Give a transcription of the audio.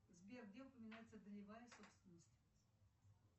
сбер где упоминается долевая собственность